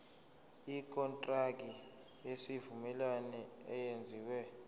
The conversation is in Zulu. ikontraki yesivumelwano eyenziwe